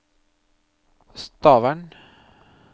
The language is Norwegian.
Stavern